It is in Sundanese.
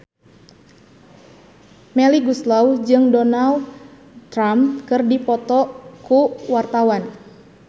Melly Goeslaw jeung Donald Trump keur dipoto ku wartawan